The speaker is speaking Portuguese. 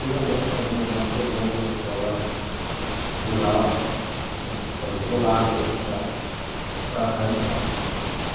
E realmente cada um de nós pegou uma escola rural, uma escola isolada da cidade, para darmos aula.